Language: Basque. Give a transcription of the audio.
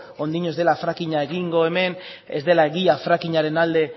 oraindik ez dela fracking a egingo hemen ez dela egia fracking aren alde